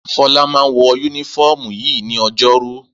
Fọlá máa ń wọ únífọ́ọ́mù yìí ní ọjọ́rú.